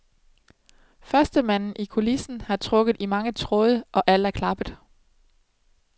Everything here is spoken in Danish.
Førstemanden i kulissen har trukket i mange tråde, og alt er klappet.